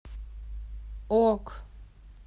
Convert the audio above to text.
ок